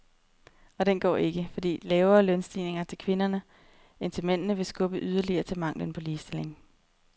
Og den går ikke, fordi lavere lønstigninger til kvinderne end til mændene vil skubbe yderligere til manglen på ligestilling.